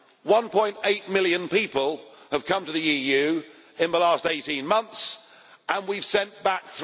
1.8 million people have come to the EU in the last 18 months and we have sent back